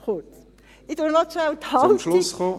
Ich fasse noch kurz die Haltung …